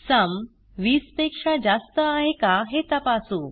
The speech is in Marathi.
सुम वीस पेक्षा जास्त आहे का हे तपासू